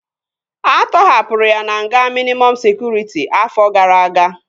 A tọhapụrụ ya na nga mịnịmọm sekụritị afọ gara aga